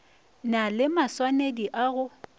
na le maswanedi a go